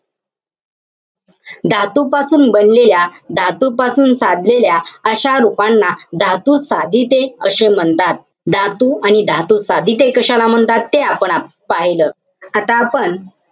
धातूपासून बनलेल्या, धातूपासून साधलेल्या अशा रूपांना धातुसाधिते अशे म्हणता. धातू आणि धातुसाधिते कशाला म्हणतात, ते आपण पाहिलं. आता आपण,